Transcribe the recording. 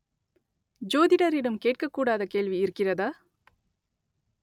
ஜோதிடரிடம் கேட்கக் கூடாத கேள்வி இருக்கிறதா